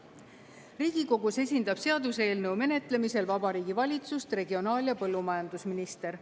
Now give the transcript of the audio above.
Riigikogus esindab seaduseelnõu menetlemisel Vabariigi Valitsust regionaal- ja põllumajandusminister.